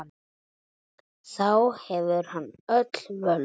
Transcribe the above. Þá hefur hann öll völd.